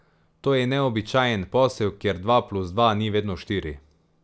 To je neobičajen posel, kjer dva plus dva ni vedno štiri.